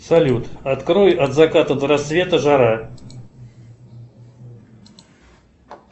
салют открой от заката до рассвета жара